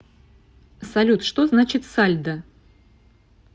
салют что значит сальдо